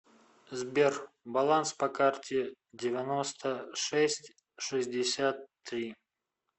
сбер баланс по карте девяносто шесть шестьдесят три